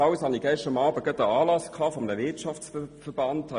Ebenfalls hatte ich gestern Abend einen Anlass eines Wirtschaftsverbands.